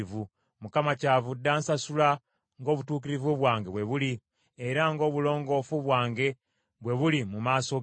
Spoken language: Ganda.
Mukama kyavudde ansasula ng’obutuukirivu bwange bwe buli, era ng’obulongoofu bwange bwe buli mu maaso ge.